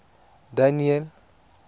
daniel